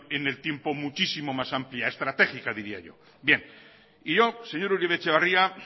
en el tiempo muchísimo más amplia estratégica diría yo señor uribe etxebarria